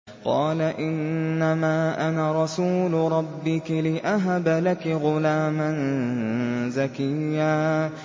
قَالَ إِنَّمَا أَنَا رَسُولُ رَبِّكِ لِأَهَبَ لَكِ غُلَامًا زَكِيًّا